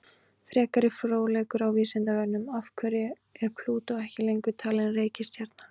Frekari fróðleikur á Vísindavefnum: Af hverju er Plútó ekki lengur talin reikistjarna?